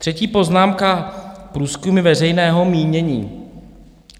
Třetí poznámka - průzkumy veřejného mínění.